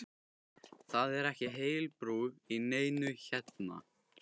Það er ekki heil brú í neinu hérna!